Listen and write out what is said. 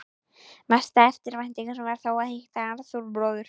Mesta eftirvæntingin var þó að hitta Arthúr bróður.